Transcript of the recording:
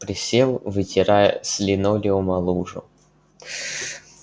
присел вытирая с линолеума лужу